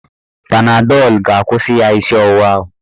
Panadọl ga-akwụsị ya isi ọwụwa ahụ.